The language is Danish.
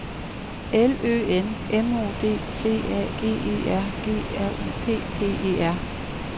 L Ø N M O D T A G E R G R U P P E R